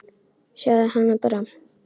Sjáðu hana bara!